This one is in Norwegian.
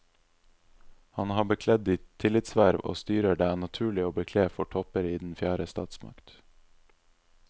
Han har bekledd de tillitsverv og styrer det er naturlig å bekle for topper i den fjerde statsmakt.